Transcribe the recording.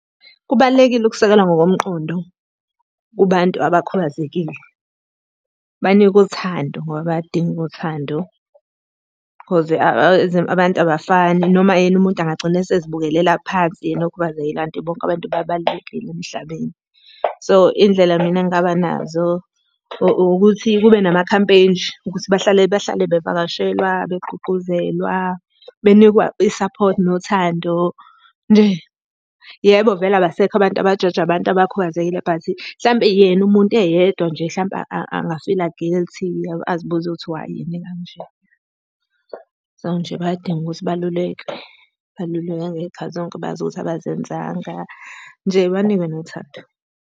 Kubalulekile ukusekelwa ngokomqondo kubantu abakhubazekile. Banikwe uthando ngoba bayaludinga uthando cause abantu abafani noma yena umuntu angagcina esezibukela phansi, yena okhubazekile kanti bonke abantu babalulekile emhlabeni. So, iy'ndlela mina engingaba nazo ukuthi kube namakhampeyini nje ukuthi bahlale bahlale bevakashelwa begqugquzelwa, benikwe isaphothi nothando nje. Yebo, vele abasekho abantu abajaja abantu abakhubazekile but hlampe yena umuntu eyedwa nje hlampe angafila guilty, azibuze ukuthi why yena ekanje. So, nje bayadinga ukuthi balulekwe, balulekwe ngey'khathi zonke bazi ukuthi abazenzanga, nje banikwe nothando.